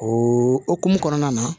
O hokumu kɔnɔna na